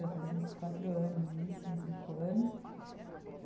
Já faz uns quatro anos, isso, uns cinco anos.